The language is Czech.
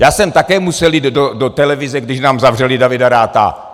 Já jsem také musel jít do televize, když nám zavřeli Davida Ratha.